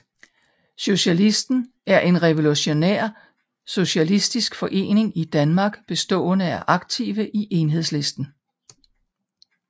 Socialisten er en revolutionær socialistisk forening i Danmark bestående af aktive i Enhedslisten